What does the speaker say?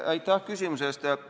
Aitäh küsimuse eest!